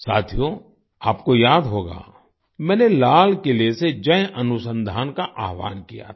साथियो आपको याद होगा मैंने लाल किले से जय अनुसंधान का आह्वान किया था